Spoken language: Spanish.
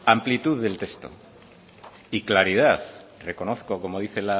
amplitud del texto y claridad reconozco como dice